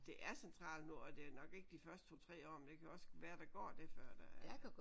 Det er centralt nu og det er nok ikke de første 2 3 år men det kan jo også være der går det før der er